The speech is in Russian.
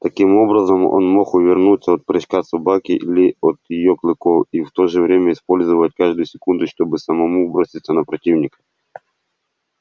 таким образом он мог увернуться от прыжка собаки или от её клыков и в то же время использовать каждую секунду чтобы самому броситься на противника